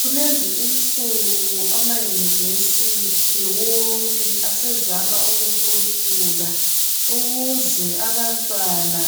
Kulezinsuku ama "University" wonke asezama ukukhuphuka ukuze abantwana